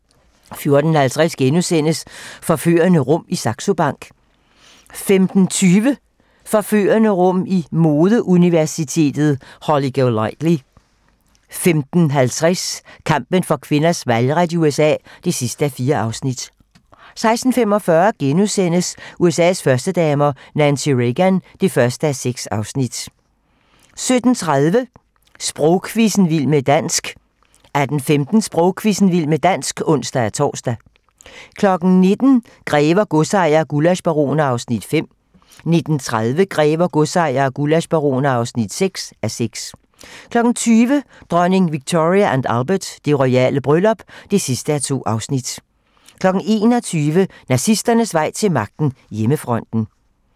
14:50: Forførende rum i Saxo Bank * 15:20: Forførende rum i modeuniverset Holly Golightly 15:50: Kampen for kvinders valgret i USA (4:4) 16:45: USA's førstedamer - Nancy Reagan (1:6)* 17:30: Sprogquizzen - Vild med dansk 18:15: Sprogquizzen - Vild med dansk (ons-tor) 19:00: Grever, godsejere og gullaschbaroner (5:6) 19:30: Grever, godsejere og gullaschbaroner (6:6) 20:00: Dronning Victoria & Albert: Det royale bryllup (2:2) 21:00: Nazisternes vej til magten: Hjemmefronten